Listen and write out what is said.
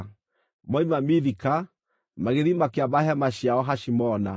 Moima Mithika, magĩthiĩ makĩamba hema ciao Hashimona.